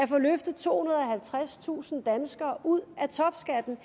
få løftet tohundrede og halvtredstusind danskere ud af topskatten